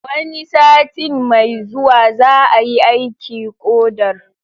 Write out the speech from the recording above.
Wani satin mai zuwa za'a yi aiki ƙodar.